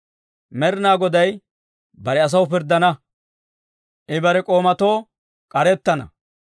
Med'inaa Goday bare asaw pirddana; I bare k'oomatoo k'arettana.